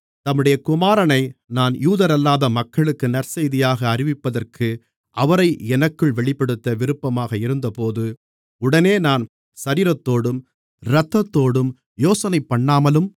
தம்முடைய குமாரனை நான் யூதரல்லாத மக்களுக்கு நற்செய்தியாக அறிவிப்பதற்கு அவரை எனக்குள் வெளிப்படுத்த விருப்பமாக இருந்தபோது உடனே நான் சரீரத்தோடும் இரத்தத்தோடும் யோசனை பண்ணாமலும்